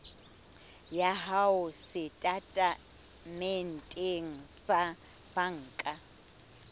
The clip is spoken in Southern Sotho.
ya hao setatementeng sa banka